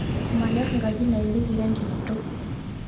Manyor nkaji nayelieki rangi kitok